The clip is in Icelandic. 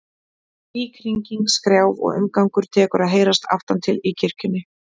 Líkhringing, skrjáf og umgangur tekur að heyrast aftan til í kirkjunni.